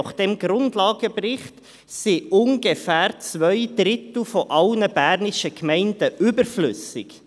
Gemäss diesem Grundlagenbericht sind rund zwei Drittel der bernischen Gemeinden überflüssig.